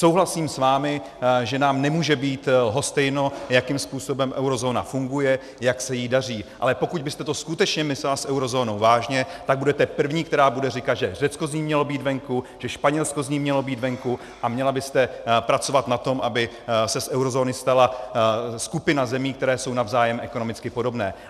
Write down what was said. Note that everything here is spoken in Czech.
Souhlasím s vámi, že nám nemůže být lhostejno, jakým způsobem eurozóna funguje, jak se jí daří, ale pokud byste to skutečně myslela s eurozónou vážně, tak budete první, která bude říkat, že Řecko z ní mělo být venku, že Španělsko z ní mělo být venku, a měla byste pracovat na tom, aby se z eurozóny stala skupina zemí, které jsou navzájem ekonomicky podobné.